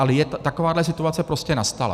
Ale takováhle situace prostě nastala.